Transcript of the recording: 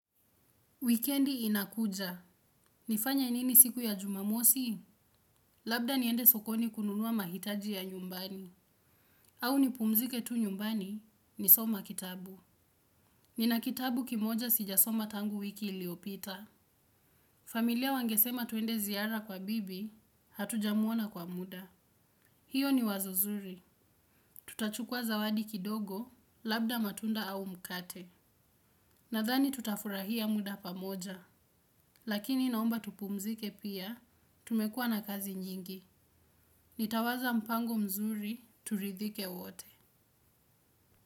Wikendi inakuja. Nifanye nini siku ya jumamosi? Labda niende sokoni kununua mahitaji ya nyumbani. Au nipumzike tu nyumbani nisome kitabu. Nina kitabu kimoja sijasoma tangu wiki iliyopita. Familia wangesema tuende ziara kwa bibi, hatuja muona kwa muda. Hiyo ni wazo zuri. Tutachukua zawadi kidogo, labda matunda au mkate. Nadhani tutafurahia muda pamoja. Lakini naomba tupumzike pia, tumekuwa na kazi nyingi. Nitawaza mpango mzuri, turidhike wote.